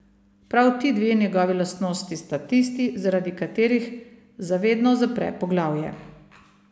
Prav ti dve njegovi lastnosti sta tisti, zaradi katerih za vedno zapre poglavje.